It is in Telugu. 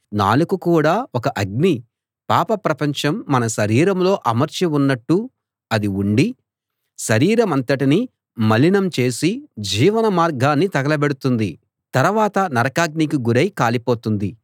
నాలుక కూడా ఒక అగ్ని పాప ప్రపంచం మన శరీరంలో అమర్చి ఉన్నట్టు అది ఉండి శరీరమంతటినీ మలినం చేసి జీవన మార్గాన్ని తగలబెడుతుంది తరవాత నరకాగ్నికి గురై కాలిపోతుంది